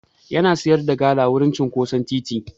Yana sayar da gala wurin cinƙoson titi.